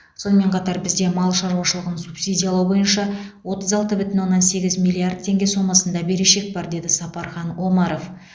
сонымен қатар бізде мал шаруашылығын субсидиялау бойынша отыз алты бүтін оннан сегіз миллиард теңге сомасында берешек бар деді сапархан омаров